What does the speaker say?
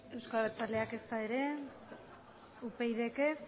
euzko abertzaleak ezta ere upydk ez